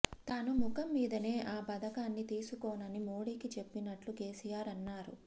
తాను ముఖం మీదనే ఆ పథకాన్ని తీసుకోనని మోడీకి చెప్పినట్టు కేసీఆర్ అన్నారు